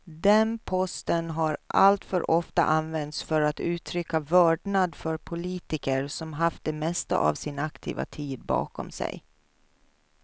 Den posten har alltför ofta använts för att uttrycka vördnad för politiker som haft det mesta av sin aktiva tid bakom sig.